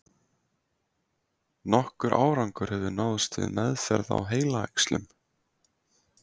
Nokkur árangur hefur náðst við meðferð á heilaæxlum.